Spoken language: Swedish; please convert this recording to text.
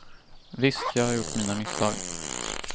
Visst, jag har gjort mina misstag.